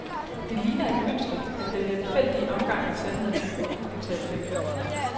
Det ligner et mønster, at den lemfældige omgang med sandheden er gået upåtalt hen.